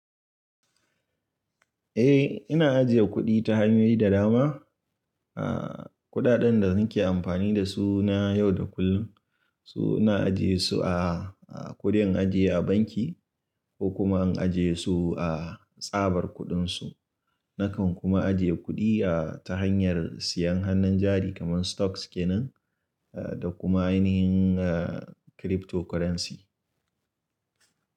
Eh, ina ajiye kuɗi ta hanyoyi da dama. A ƙuɗaɗen da nake amfani da su na yau da kullum, so ina ajiye su a kuɗin ajiye a banki ko kuma in ajiye su a tsabar kuɗinsu. Nakan kuma ajiye kuɗi a ta hanyar siyan hannun jari kamar stocks ke nan da kuma ainihin cryptocurrency.